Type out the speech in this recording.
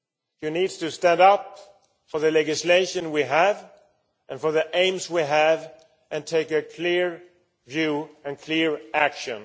You need to stand up for the legislation that we have and the aims we have, and take a clear view and clear action.